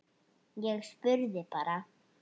Ég spurði bara.